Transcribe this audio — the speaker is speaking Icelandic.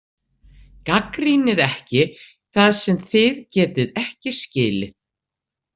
Gagnrýnið ekki það sem þið getið ekki skilið.